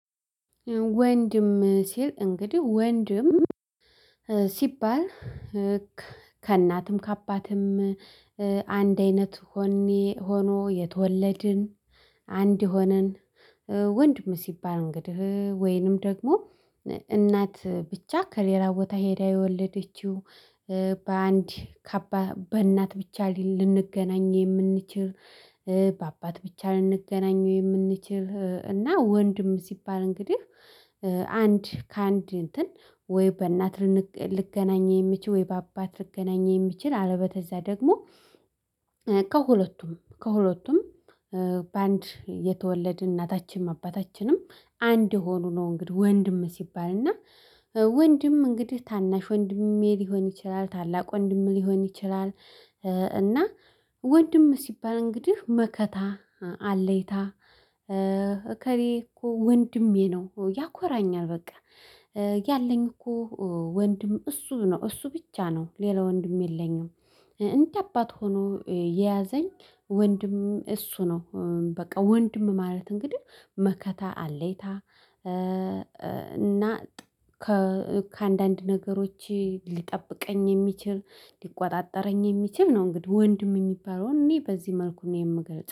ወንድም ሲል እንግዲህ ወንድም ሲባል ከእናትም ከአባትም አንድ አይነት ሆኖ የተወለድን አንድ ሆነን ወንድም ሲባል እንግዲህ ወይንም ደግሞ እናት ብቻ ከሌላ ቦታ ሄዳ የወለደችው በአንድ ካባት ከእናት ብቻ ልንገናኝ የምንችል በአባት ብቻ ልንገናኘው የምንችል እና ወንድም ሲባል እንግዲህ አንድ ከአንድ እንትን ወይ በእናት ልገናኝ የምችል ወይ በአባት ልንገናኝ የሚችል አለበተዝያ ደግሞ ከሁለቱም ከሁለቱም በአንድ የተወለድን እናታችንም አባታችንም አንድ የሆኑ ነው። እንግዲህ ወንድም ሲባል እና ወንድም እንግዲህ ታናሽ ወንድሜ ሊሆን ይችላል ታላቅ ወንድም ሊሆን ይችላል። እና ወንድም ሲባል እንግዲህ መከታ አለይታ እከሬ እኮ ወንድሜ ነው። ያኮራኛል በቃ ያለኝ እኮ ወንድም እሱ ነው። እሱ ብቻ ነው ሌላ ወንድም የለኝም። እንደ አባት ሆኖ የያዘኝ ወንድም እሱ ነው። በቃ ወንድም ማለት እንግዲህ መከታ አለይታ። እና ከአንዳንድ ነገሮች ሊጠብቀኝ የሚችል ሊቆጣጠረኝ የሚችል ነው። እንግዲህ ወንድም የሚባለውን እኔ በዚህ መልኩ ነው የምገልጸው